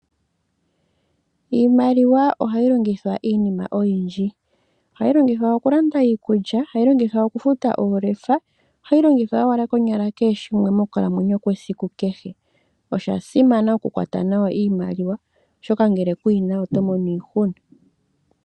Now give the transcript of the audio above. Iimaliwa oha yi longithwa iinima oyindji. Ohayi longithwa oku landa iikulya, oha yi longithwa oku futa oolefa, ohayi longithwa owala konyala kehe shimwe mokukalamwenyo kwesiku kehe. Osha simana oku kwata nawa iimaliwa, oshoka ngele kuyi na oto mono iihuna.